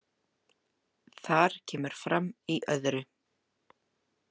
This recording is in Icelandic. Þar kemur fram í II.